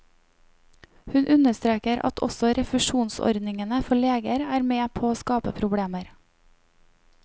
Hun understreker at også refusjonsordningene for leger er med på å skape problemer.